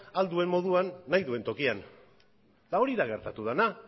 ahal duen moduan nahi duen tokian eta hori da gertatu dena